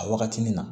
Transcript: A wagatini na